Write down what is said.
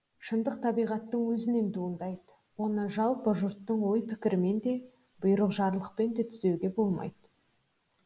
шындық табиғаттың өзінен туындайды оны жалпы жұрттың ой пікірімен де бұйрық жарлықпен де түзетуге болмайды